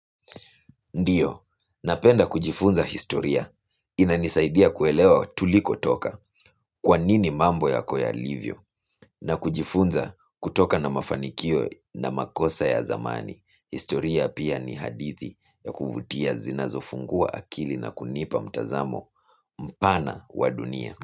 Ndiyo, napenda kujifunza historia, inanisaidia kuelewa tuliko toka, kwa nini mambo yako yalivyo, na kujifunza kutokana na mafanikio na makosa ya zamani, historia pia ni hadithi ya kuvutia zinazo funguwa akili na kunipa mtazamo mpana wa dunia.